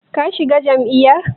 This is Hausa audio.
Ka shiga jam'iyyar?